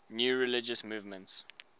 new religious movements